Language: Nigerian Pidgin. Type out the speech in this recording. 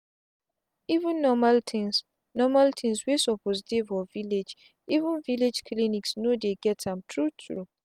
even normal things normal things wey suppose dey for villageeven villlage clinics no dey get am true true.